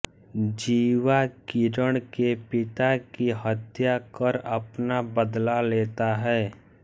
जीवा किरण के पिता की हत्या कर अपना बदला लेता है